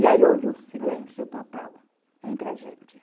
E aí houve um silêncio total entre a gente.